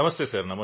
Namaste sir